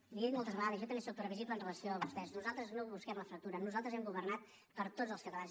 l’hi he dit moltes vegades jo també soc previsible amb relació a vostès nosaltres no busquem la fractura nosaltres hem governat per a tots els catalans